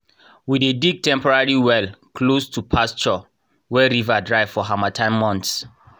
we dey dig temporary well close to pasture when river dry for harmattan months.